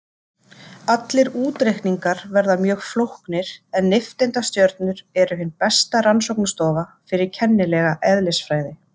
Allir útreikningar verða mjög flóknir en nifteindastjörnur eru hin besta rannsóknarstofa fyrir kennilega eðlisfræði.